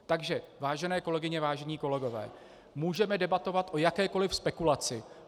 Takže vážené kolegyně, vážení kolegové, můžeme debatovat o jakékoli spekulaci.